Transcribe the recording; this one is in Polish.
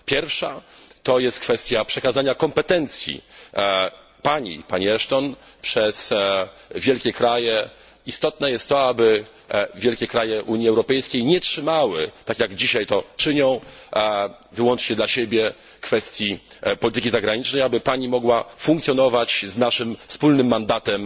Pierwsza to jest kwestia przekazania kompetencji Pani, Pani Ashton, przez wielkie kraje. Istotne jest to, aby wielkie kraje Unii Europejskiej nie trzymały, tak jak dzisiaj to czynią, wyłącznie dla siebie kwestii polityki zagranicznej, aby Pani mogła funkcjonować z naszym wspólnym mandatem.